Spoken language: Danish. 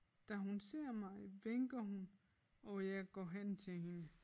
Da hun ser mig vinker hun og jeg går hen til hende